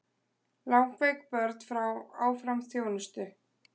Langveik börn fá áfram þjónustu